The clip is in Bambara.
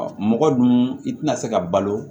Ɔ mɔgɔ dun i tɛna se ka balo